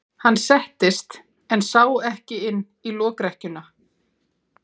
Hann settist en sá ekki inn í lokrekkjuna.